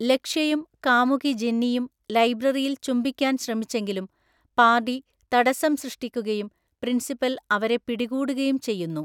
ലക്ഷ്യയും കാമുകി ജെന്നിയും ലൈബ്രറിയിൽ ചുംബിക്കാൻ ശ്രമിച്ചെങ്കിലും പാർഡി തടസ്സം സൃഷ്ടിക്കുകയും പ്രിൻസിപ്പൽ അവരെ പിടികൂടുകയും ചെയ്യുന്നു.